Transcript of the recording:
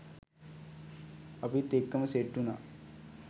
අපිත් එක්කම සෙට් උනා